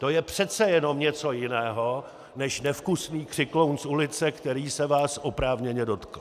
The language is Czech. To je přece jenom něco jiného než nevkusný křikloun z ulice, který se vás oprávněně dotkl.